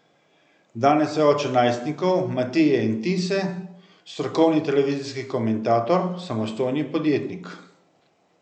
Danes je oče najstnikov Matije in Tise, strokovni televizijski komentator, samostojni podjetnik.